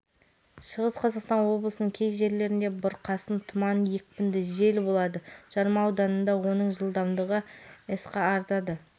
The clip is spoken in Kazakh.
шығыс қазақстан облысының кей жерлерінде бұрқасын тұман екпінде жел болады жарма ауданында оның жылдамдығы с-қа артады